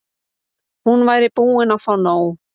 Hún væri búin að fá nóg.